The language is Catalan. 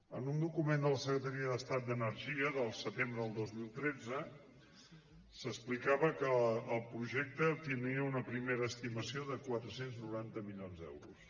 en un document de la secretaria d’estat d’energia del setembre del dos mil tretze s’explicava que el projecte tindria una primera estimació de quatre cents i noranta milions d’euros